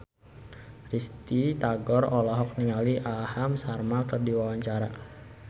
Risty Tagor olohok ningali Aham Sharma keur diwawancara